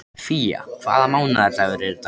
Fía, hvaða mánaðardagur er í dag?